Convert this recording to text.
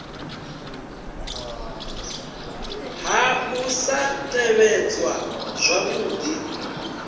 ha u sa tevhedzwa zwavhudi